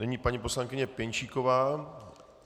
Nyní paní poslankyně Pěnčíková.